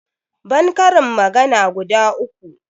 ban karin magana guda uku